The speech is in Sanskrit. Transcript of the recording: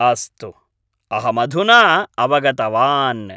अस्तु, अहमधुना अवगतवान्।